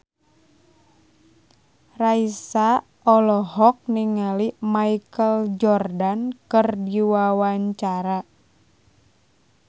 Raisa olohok ningali Michael Jordan keur diwawancara